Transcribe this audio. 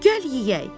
Gəl yeyək.